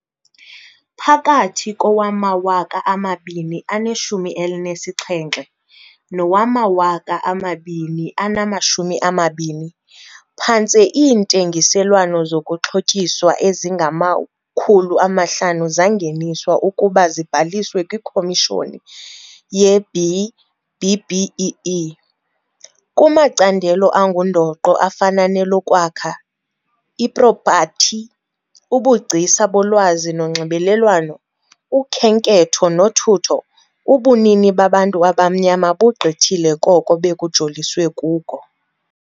Phakathi kowama-2017 nowama-2020, phantse iintengiselwano zokuxhotyiswa ezingama-500 zangeniswa ukuba zibhaliswe kwiKomishoni ye-B-BBEE. Kumacandelo angundoqo afana nelokwakha, ipropathi, ubugcisa bolwazi nonxibelelwano, ukhenketho nothutho, ubunini babantu abamnyama bugqithile koko bekujoliswe kuko.